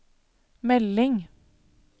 melding